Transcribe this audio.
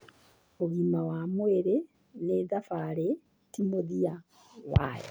Ũgima wa mwĩrĩ nĩ thabarĩ, ti mũthia wayo.